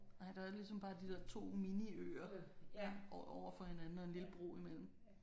Nej der var ligesom bare de der 2 miniøer over overfor hinanden og en lille bro imellem